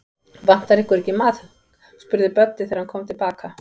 Vantar ykkur ekki maðk? spurði Böddi, þegar hann kom til baka.